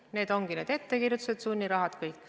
Need ongi need ettekirjutused, sunnirahad – kõik.